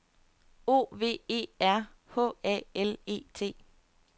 O V E R H A L E T